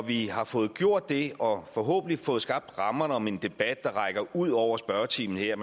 vi har fået gjort det og forhåbentlig har fået skabt rammerne om en debat der rækker ud over spørgetimen her